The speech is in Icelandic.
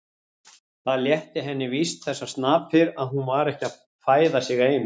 Það létti henni víst þessar snapir að hún var ekki að fæða sig eina.